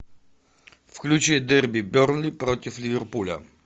включи дерби бернли против ливерпуля